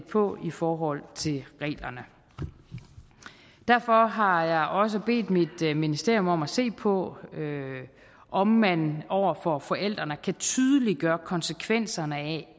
på i forhold til reglerne derfor har jeg også bedt mit ministerium om at se på om man over for forældrene kan tydeliggøre konsekvenserne af